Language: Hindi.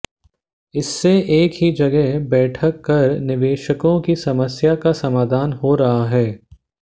इससे एक ही जगह बैठक कर निवेशकों की समस्या का समाधान हो रहा है